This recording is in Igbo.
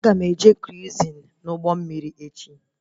Aga m eje kruizin na ụgbọ mmiri echi